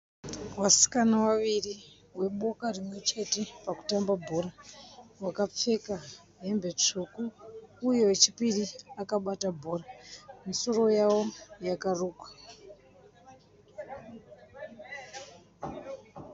Vasikana vaviri veboka rimwe chete pakutamba bhora. Vakapfeka hembe tsvuku uye wechipiri akabata bhora. Misoro yavo yakarukwa.